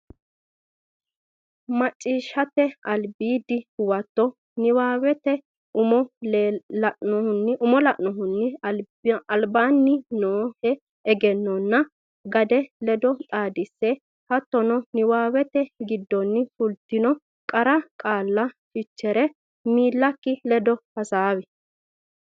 Macciishshate Albiidi Huwato Niwaawete umo lainohunni albaanni noohe egennonna gade ledo xaadisse hattono niwaawete giddonni fultinota qara qaalla fichere miillakki ledo hasaawi.